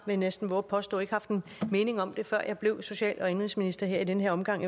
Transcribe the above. jeg næsten vove at påstå ikke haft en mening om det før jeg blev social og indenrigsminister her i denne omgang